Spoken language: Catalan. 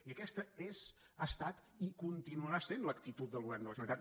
i aquesta és ha estat i continuarà sent l’actitud del govern de la generalitat